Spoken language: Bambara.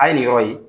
A ye nin yɔrɔ in ye